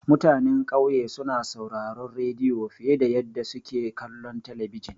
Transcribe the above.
Mutanan ƙauye suna sauraron rediyo fiye da yadda suke kallon talabijin.